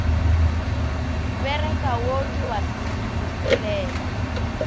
bereka wo ke wa boselela